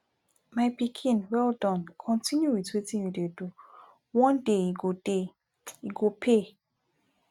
my pikin well Accepted continue with wetin you dey do one day e go day e go pay